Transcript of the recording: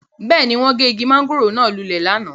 Beeni, won ge igi mangoro naa lule lana